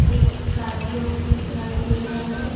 एक स्कार्पिओ भी दिखाई दे रहा है।